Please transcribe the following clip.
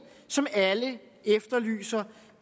som alle efterlyser